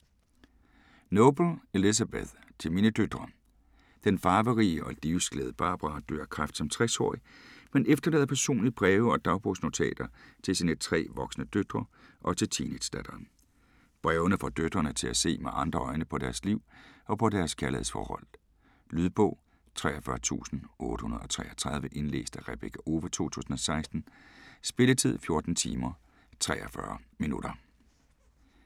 Noble, Elizabeth: Til mine døtre Den farverige og livsglade Barbara dør af kræft som 60-årig, men efterlader personlige breve og dagbogsnotater til sine tre voksne døtre og til teenagedatteren. Brevene får døtrene til at se med andre øjne på deres liv og på deres kærlighedsforhold. Lydbog 43833 Indlæst af Rebekka Owe, 2016. Spilletid: 14 timer, 43 minutter.